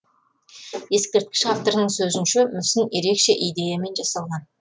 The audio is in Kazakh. ескерткіш авторының сөзінше мүсін ерекше идеямен жасалған